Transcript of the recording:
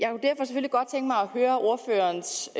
høre ordførerens